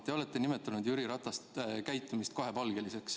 Te olete nimetanud Jüri Ratase käitumist kahepalgeliseks.